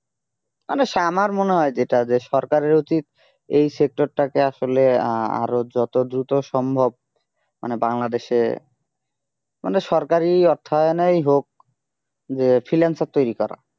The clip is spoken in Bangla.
মানে আমার মনে হয় যেটা যে সরকারের উচিত এই sector টাকে আসলে আহ আরো যত দ্রুত সম্ভব মানে বাংলাদেশে মানে সরকারি অর্থায়নেই হোক যে freelancer তৈরি করা